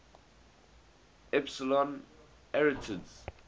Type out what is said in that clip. epsilon arietids